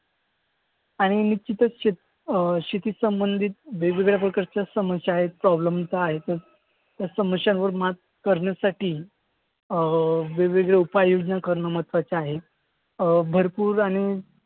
आणि निश्चितच अं शेतीसंबंधित समस्या आहेत त्या समस्यांवर मात करण्यासाठी अं वेगवेगळे उपाययोजना करणं महत्वाचं आहे. अं भरपूर आणि